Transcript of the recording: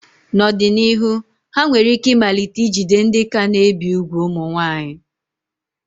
N'ọdịnihu, ha nwere ike ịmalite ijide ndị ka na-ebi úgwù ụmụ nwaanyị.